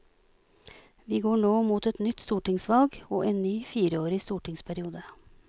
Vi går nå mot et nytt stortingsvalg og en ny fireårig stortingsperiode.